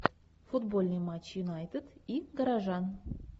футбольный матч юнайтед и горожан